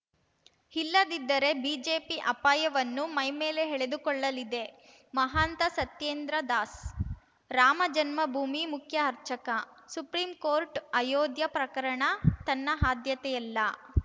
ಇಲ್ಲದಿದ್ದರೆ ಬಿಜೆಪಿ ಅಪಾಯವನ್ನು ಮೈಮೇಲೆ ಎಳೆದುಕೊಳ್ಳಲಿದೆ ಮಹಾಂತ ಸತ್ಯೇಂದ್ರ ದಾಸ್‌ ರಾಮಜನ್ಮಭೂಮಿ ಮುಖ್ಯ ಅರ್ಚಕ ಸುಪ್ರೀಂ ಕೋರ್ಟು ಅಯೋಧ್ಯಾ ಪ್ರಕರಣ ತನ್ನ ಆದ್ಯತೆಯಲ್ಲ